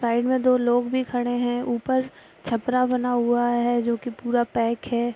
Side में दो लोग भी खड़े हैं ऊपर छपरा बना हुआ है जो की पूरा पैक है।